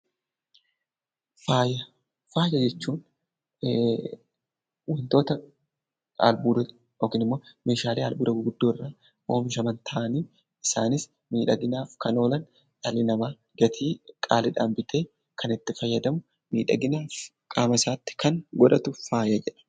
Faaya: Faaya jechuun wantoota albuuda yookiin meeshaalee albuuda gurguddaa irraa oomishaman ta'anii isaanis miidhaginaaf kan oolan dhalli namaa gatii qaaliidhaan bitee kan kan itti fayyadamu, miidhagina qaama isaatti kan godhatu faaya jedhama.